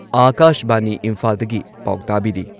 ꯑꯥꯀꯥꯁꯕꯥꯅꯤ ꯏꯝꯐꯥꯜꯗꯒꯤ ꯄꯥꯎ ꯇꯥꯕꯤꯔꯤ